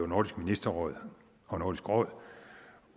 nordisk ministerråd og nordisk råd